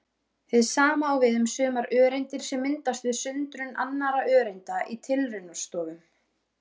Hið sama á við um sumar öreindir sem myndast við sundrun annarra öreinda í tilraunastofum.